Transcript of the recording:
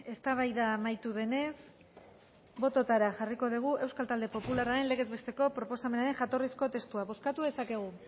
eztabaida amaitu denez botoetara jarriko dugu euskal talde popularraren legezbesteko proposamenaren jatorrizko testua bozkatu dezakegu